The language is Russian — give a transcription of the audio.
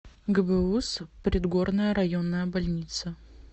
гбуз предгорная районная больница